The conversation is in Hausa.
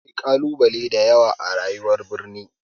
Akwai ƙalubale da yawa a rayuwar birni.